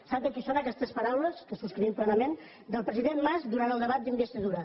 sap de qui són aquestes paraules que subscrivim plenament del president mas durant el debat d’investidura